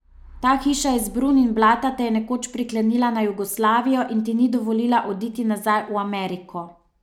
Ta hiša iz brun in blata te je nekoč priklenila na Jugoslavijo in ti ni dovolila oditi nazaj v Ameriko.